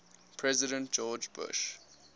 president george bush